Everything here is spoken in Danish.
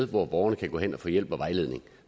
hvor borgerne kan gå hen og få hjælp og vejledning